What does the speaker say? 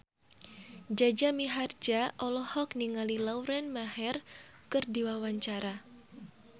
Jaja Mihardja olohok ningali Lauren Maher keur diwawancara